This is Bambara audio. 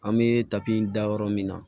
An bɛ tapi da yɔrɔ min na